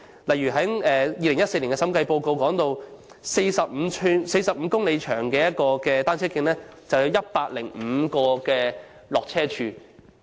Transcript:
一如2014年的審計報告指出，一段45公里長的單車徑，便有105個下車處。